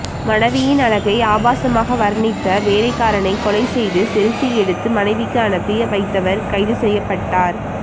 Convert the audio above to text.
மனைவியின் அழகை ஆபாசமாக வர்ணித்த வேலைக்காரனை கொலை செய்து செல்பி எடுத்து மனைவிக்கு அனுப்பி வைத்தவர் கைது செய்யப்பட்டார்